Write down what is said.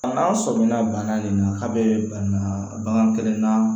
A n'a sɔmina bana nin na a bɛ banabaatɔ kelen na